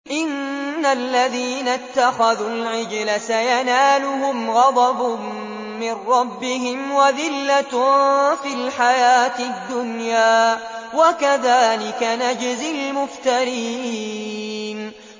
إِنَّ الَّذِينَ اتَّخَذُوا الْعِجْلَ سَيَنَالُهُمْ غَضَبٌ مِّن رَّبِّهِمْ وَذِلَّةٌ فِي الْحَيَاةِ الدُّنْيَا ۚ وَكَذَٰلِكَ نَجْزِي الْمُفْتَرِينَ